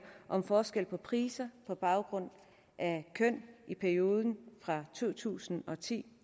om forskel på priser på baggrund af køn i perioden fra to tusind og ti